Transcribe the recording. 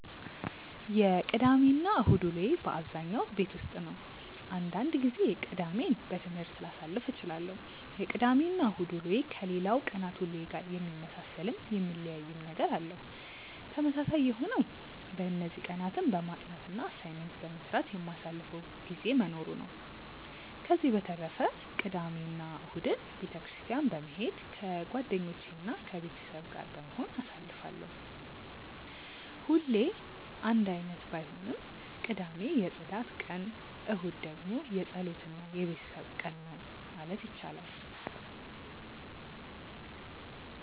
የቅዳሜ እና እሁድ ውሎዬ በአብዛኛው ቤት ውስጥ ነው። አንዳንድ ጊዜ ቅዳሜን በትምህርት ላሳልፍ እችላለሁ። የቅዳሜ እና እሁድ ውሎዬ ከሌላው ቀናት ውሎዬ ጋር የሚመሳሰልም የሚለያይም ነገር አለው። ተመሳሳይ የሆነው በእነዚህ ቀናትም በማጥናት እና አሳይመንት በመስራት የማሳልፈው ጊዜ መኖሩ ነው። ከዚህ በተረፈ ቅዳሜ እና እሁድን ቤተ ክርስትያን በመሄድ ከጓደኞቼ እና ከቤተሰብ ጋር በመሆን አሳልፋለሁ። ሁሌ አንድ አይነት ባይሆንም ቅዳሜ የፅዳት ቀን እሁድ ደግሞ የፀሎት እና የቤተሰብ ቀን ነው ማለት ይቻላል።